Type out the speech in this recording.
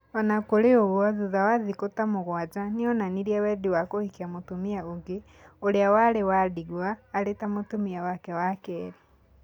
O na kũrĩ ũguo, thutha wa thĩkũ ta mũgwanja, nĩ onanirie wendi wa kũhikia mũtumia ũngĩ, ũrĩa warĩ wa ndigwa, arĩ mũtumia wake wa kerĩ.